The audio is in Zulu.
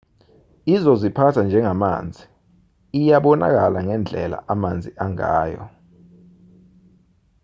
izoziphatha njengamanzi iyabonakala ngendlela amanzi angayo